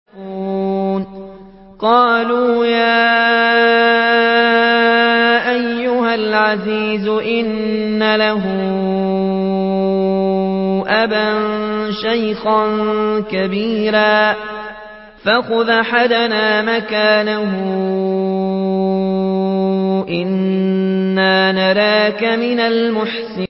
قَالُوا يَا أَيُّهَا الْعَزِيزُ إِنَّ لَهُ أَبًا شَيْخًا كَبِيرًا فَخُذْ أَحَدَنَا مَكَانَهُ ۖ إِنَّا نَرَاكَ مِنَ الْمُحْسِنِينَ